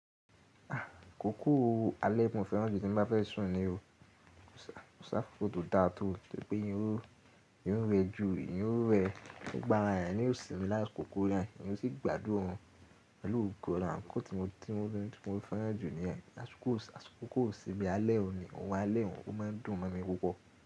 Ah kòkó alẹ́ mọ́ fẹ́ràn jù tí n bá fẹ́ sùn ni o. Koṣi akókó tó dáa tó, wi pé eeyan ó rẹju, eeyan ó rẹ, gbogbo ára eeyàn, ni ò sìmi lá'kòkó na, eeyan ó sì gbádùn orun pẹ̀lú ogo olorun. akoKò tí mo tun, tí mo fẹ́ràn jù níyẹn. Àkókò iṣimi alẹ́ o ni, òrun alẹ́-un, ó má ń dùn mọ́ mi púpọ̀.